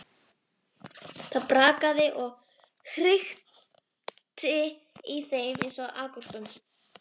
Það brakaði og hrikti í þeim eins og agúrkum.